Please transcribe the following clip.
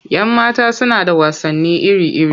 Yan mata suna da wasanni iri-iri.